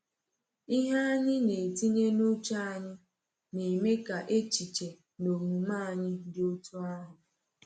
Ihe anyị na-etinye n’uche anyị na-eme ka echiche na omume anyị dị otú ahụ.